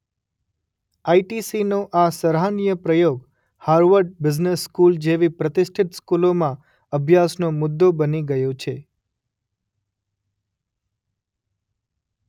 આઇટીસીનો આ સરાહનીય પ્રયોગ હાવર્ડ બિઝનેસ સ્કૂલ જેવી પ્રતિષ્ઠિત સ્કૂલમાં અભ્યાસનો મુદ્દો બની ગયો છે.